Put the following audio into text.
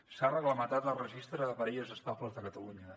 s’ha reglamentat el registre de parelles estables de catalunya